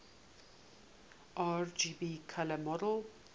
rgb color model